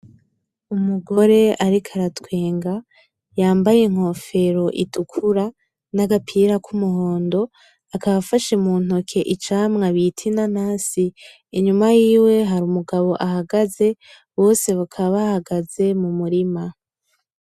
Umugore ariko aratwenga yambaye inkofero itukura nagapira k'umuhondo akaba afashe mu ntoke icamwa bita inanasi, inyuma yiwe hari umugabo ahagaze bose bakaba bahagaze mu murima